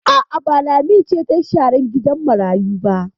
A'a, ba Lami ce ta yi sharan gidan marayu ba.